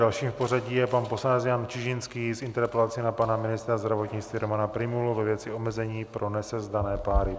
Dalším v pořadí je pan poslanec Jan Čižinský s interpelací na pana ministra zdravotnictví Romana Prymulu ve věci omezení pro nesezdané páry.